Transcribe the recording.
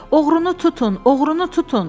Oğrunu tutun, oğrunu tutun!